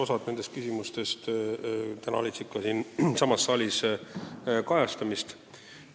Osa nendest küsimustest leidis ka täna siin saalis kajastamist.